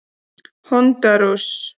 Hondúras